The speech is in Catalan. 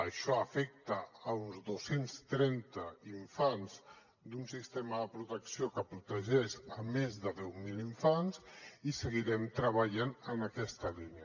això afecta uns dos cents trenta infants d’un sistema de protecció que protegeix més de deu mil infants i seguirem treballant en aquesta línia